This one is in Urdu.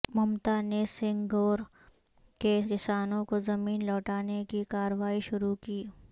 ممتا نے سینگور کے کسانوں کو زمین لوٹانے کی کارروائی شروع کی